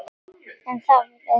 En það var öðru nær!